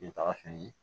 taga sen ye